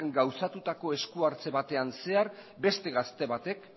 gauzatutako eskuartze batean zehar beste gazte batek